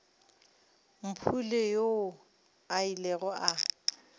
mpule yoo a ilego a